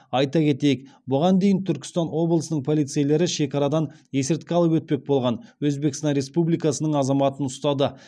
айта кетейік бұған дейін түркістан облысының полицейлері шекарадан есірткі алып өтпек болған өзбекстан республикасының азаматын ұстады